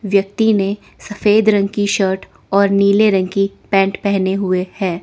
व्यक्ति ने सफेद रंग की शर्ट और नीले रंग की पैंट पहने हुए हैं।